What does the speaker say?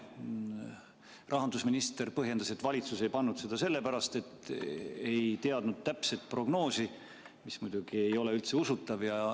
Rahandusminister põhjendas, et valitsus ei pannud seda sisse sellepärast, et ei teadnud täpset prognoosi, mis muidugi ei ole üldse usutav.